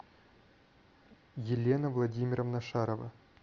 елена владимировна шарова